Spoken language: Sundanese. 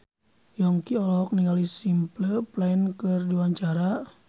Yongki olohok ningali Simple Plan keur diwawancara